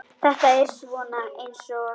Þetta er svona eins og.